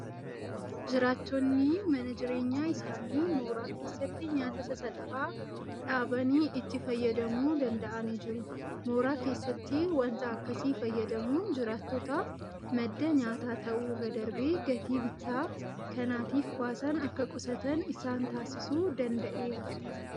Jiraattonni mana jireenyaa isaanii mooraa keessatti nyaata sasalphaa dhaabanii itti fayyadamuu danda'anii jiru. Mooraa keessatti waanta akkasii fayyadamuun jiraattotaaf madda nyaataa ta'uu irra darbee gatii bittaa kanaatiif baasan akka qusatan isaan taasisuu danda'eera.